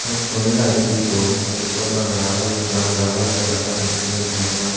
eyot tuni light di dun hub dol lagey ar undi gaj agon degajadon cigon cigon gaj.